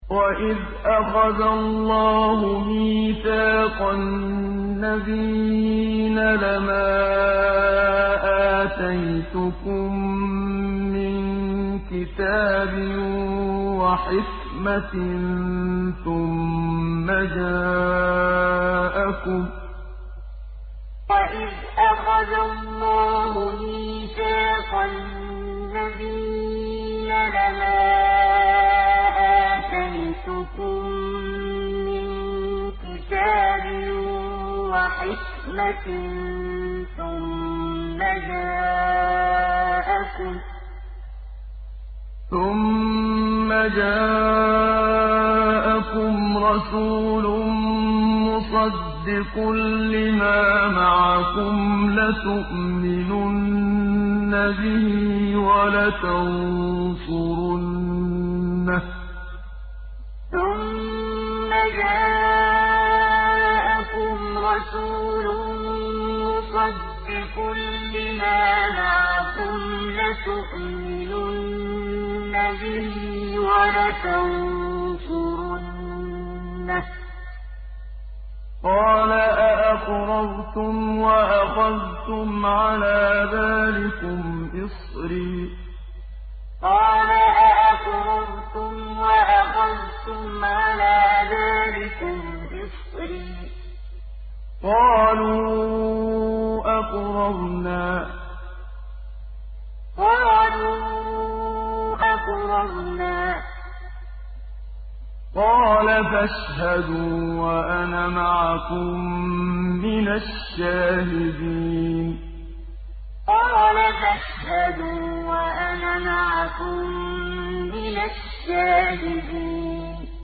وَإِذْ أَخَذَ اللَّهُ مِيثَاقَ النَّبِيِّينَ لَمَا آتَيْتُكُم مِّن كِتَابٍ وَحِكْمَةٍ ثُمَّ جَاءَكُمْ رَسُولٌ مُّصَدِّقٌ لِّمَا مَعَكُمْ لَتُؤْمِنُنَّ بِهِ وَلَتَنصُرُنَّهُ ۚ قَالَ أَأَقْرَرْتُمْ وَأَخَذْتُمْ عَلَىٰ ذَٰلِكُمْ إِصْرِي ۖ قَالُوا أَقْرَرْنَا ۚ قَالَ فَاشْهَدُوا وَأَنَا مَعَكُم مِّنَ الشَّاهِدِينَ وَإِذْ أَخَذَ اللَّهُ مِيثَاقَ النَّبِيِّينَ لَمَا آتَيْتُكُم مِّن كِتَابٍ وَحِكْمَةٍ ثُمَّ جَاءَكُمْ رَسُولٌ مُّصَدِّقٌ لِّمَا مَعَكُمْ لَتُؤْمِنُنَّ بِهِ وَلَتَنصُرُنَّهُ ۚ قَالَ أَأَقْرَرْتُمْ وَأَخَذْتُمْ عَلَىٰ ذَٰلِكُمْ إِصْرِي ۖ قَالُوا أَقْرَرْنَا ۚ قَالَ فَاشْهَدُوا وَأَنَا مَعَكُم مِّنَ الشَّاهِدِينَ